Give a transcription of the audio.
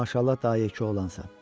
Maşallah, daha yekə oğlansan.